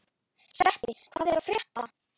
Sveppi, hvað er að frétta?